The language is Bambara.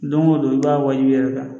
Don o don i b'a wajibiya i yɛrɛ kan